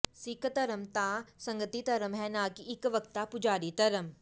ਸਿੱਖ ਧਰਮ ਤਾਂ ਸੰਗਤੀ ਧਰਮ ਹੈ ਨਾਂ ਕਿ ਇੱਕ ਵਕਤਾ ਪੁਜਾਰੀ ਧਰਮ